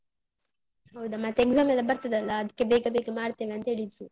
ಹೌದಾ ಮತ್ತೆ exam ಎಲ್ಲ ಬರ್ತದಲ್ಲಾ, ಅದ್ಕೆ ಬೇಗ ಬೇಗ ಮಾಡ್ತೇವೆ ಅಂತ ಹೇಳಿದ್ರು.